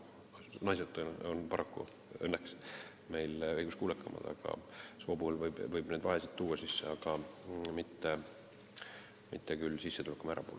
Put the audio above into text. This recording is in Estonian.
Naised on meil õnneks õiguskuulekamad, nii et soo alusel võib neid vahesid sisse tuua, aga mitte sissetulekumäära alusel.